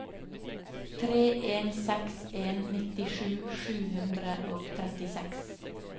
tre en seks en nittisju sju hundre og trettiseks